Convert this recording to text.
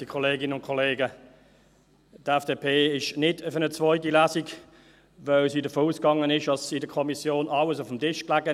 Die FDP ist nicht für eine zweite Lesung, weil sie davon ausgegangen ist, dass in der Kommission alles auf dem Tisch lag.